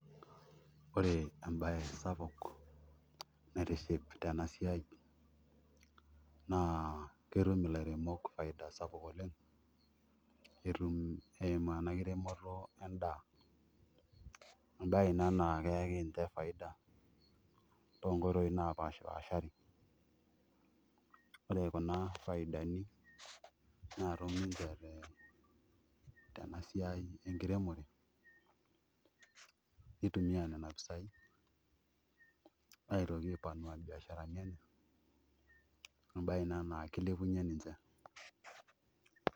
Ore embaye sapuk naitiship tena siai naa ketum ilairemok faida sapuk oleng' netum esimu ena kiremore endaa ena naa keyaki ninche faida toonkoitoi naapashipaashari ore kuna faidani naatum ninche tena siai enkiremore nitumiaa nena pisaai aitoki aipanua mbiasharani enye embaye ina naa kilepunyie ninche.